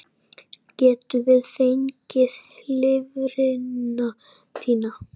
Getum við fengið lifrina þína?